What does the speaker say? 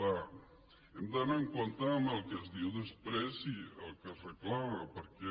clar hem d’anar en compte amb el que es diu després i el que es reclama perquè